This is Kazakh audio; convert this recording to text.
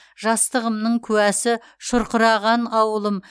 жастығымның куәсі шұрқыраған ауылым